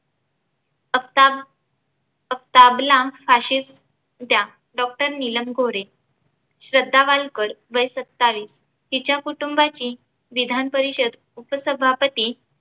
आफताब आफताबला फाशी द्या doctor नीलम गोरे. श्रद्धा वालकर वय सत्तावीस तिच्या कुटूंबाची विधानपरिषद उपसभापती